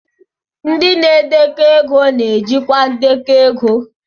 Ndị na-edekọ ego na-ejikwa ndekọ ego